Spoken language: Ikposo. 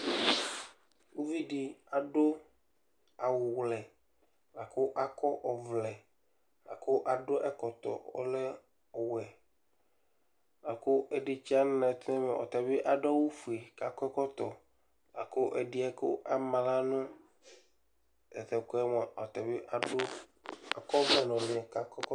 Uvi dɩ adʋ awʋwlɛ la kʋ akɔ ɔvlɛ, la kʋ adʋ ɛkɔtɔ ɔlɛ ɔwɛ la kʋ ɛdɩ tsɩya nʋ anɛtʋ nʋ ɛmɛ, ɔta bɩ adʋ awʋfue kʋ akɔ ɛkɔtɔ la kʋ ɛdɩ yɛ kʋ ama aɣla nʋ ta tʋ ɛkʋ yɛ mʋa, ɔta adʋ akɔ ɔvlɛ nʋ ʋlɩ kʋ akɔ ɛkɔtɔ